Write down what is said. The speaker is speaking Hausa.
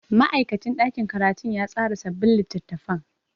Ma'aikacin ɗakin karatu ya tsara sabbin littattafan.